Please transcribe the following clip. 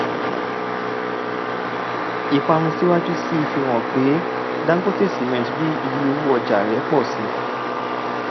ìparun síwájú sí i fi hàn pé dangote cement rí iye owo ọja rẹ pọ si